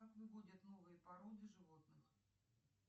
как выводят новые породы животных